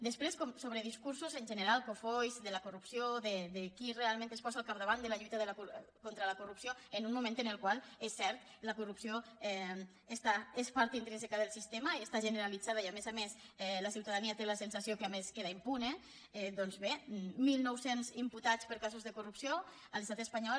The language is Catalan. després sobre discursos en general cofois de la corrupció de qui realment es posa al capdavant de la lluita contra la corrupció en un moment en el qual és cert la corrupció és part intrínseca del sistema està generalitzada i a més a més la ciutadania té la sensació que a més queda impune doncs bé mil nou cents imputats per casos de corrupció a l’estat espanyol